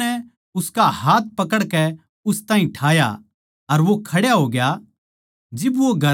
पर यीशु नै उसका हाथ पकड़कै उस ताहीं ठाया अर वो खड्या होग्या